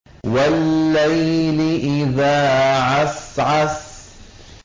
وَاللَّيْلِ إِذَا عَسْعَسَ